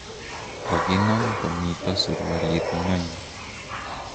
kokinam komito surualit ng'ony